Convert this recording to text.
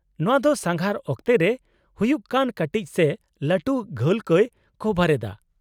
-ᱱᱚᱶᱟ ᱫᱚ ᱥᱟᱸᱜᱷᱟᱨ ᱚᱠᱛᱮ ᱨᱮ ᱦᱩᱭᱩᱜ ᱠᱟᱱ ᱠᱟᱹᱴᱤᱡ ᱥᱮ ᱞᱟᱹᱴᱩ ᱜᱷᱟᱹᱞ ᱠᱚᱭ ᱠᱚᱵᱷᱟᱨ ᱮᱫᱟ ᱾